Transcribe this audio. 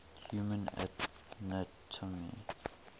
human anatomy